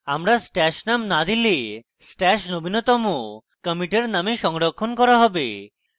আমরা stash name না দিলে stash নবীনতম commit এর name সংরক্ষণ করা হবে